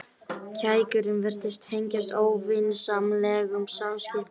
Kækurinn virtist tengjast óvinsamlegum samskiptum.